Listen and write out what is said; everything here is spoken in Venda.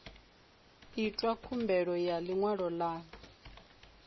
itwa khumbelo ya ḽiṅwalo ḽa